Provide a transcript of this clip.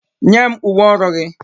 Nye m uwe ọrụ gị!